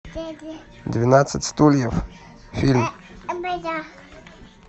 двенадцать стульев фильм